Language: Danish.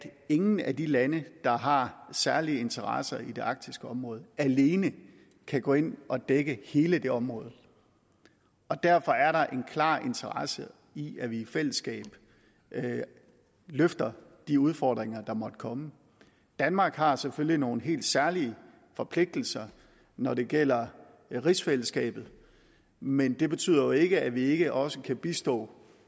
ingen af de lande der har særlige interesser i det arktiske område alene kan gå ind og dække hele det område derfor er der en klar interesse i at vi i fællesskab løfter de udfordringer der måtte komme danmark har selvfølgelig nogle helt særlige forpligtelser når det gælder rigsfællesskabet men det betyder jo ikke at vi ikke også kan bistå